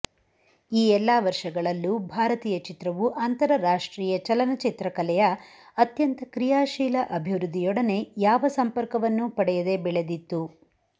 ಈ ಎಲ್ಲ ವರ್ಷಗಳಲ್ಲೂ ಭಾರತೀಯ ಚಿತ್ರವು ಅಂತರರಾಷ್ಟ್ರೀಯ ಚಲಚ್ಚಿತ್ರ ಕಲೆಯ ಅತ್ಯಂತ ಕ್ರಿಯಾಶೀಲ ಅಭಿವೃದ್ದಿಯೊಡನೆ ಯಾವ ಸಂಪರ್ಕವನ್ನೂ ಪಡೆಯದೆ ಬೆಳೆದಿತ್ತು